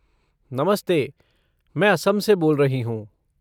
नमस्ते! मैं असम से बोल रही हूँ।